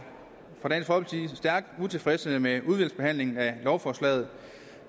stærkt utilfredse med udvalgsbehandlingen af lovforslaget